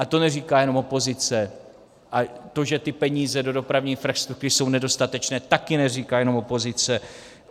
A to neříká jenom opozice a to, že ty peníze do dopravní infrastruktury jsou nedostatečné, taky neříká jenom opozice.